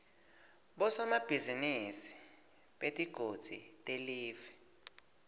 bosomabhizinisi betigodzi telive